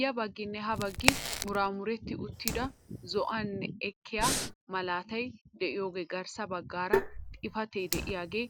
Ya bagginne ha baggi muraamuretti uttida zo'anaani ekkiyaa malaatay de'iyoogee garssa baggaara xifatee de'iyaagee